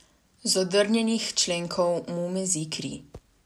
Z odrgnjenih členkov mu mezi kri.